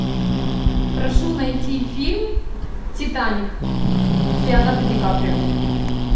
прошу найти фильм титаник с леонардо ди каприо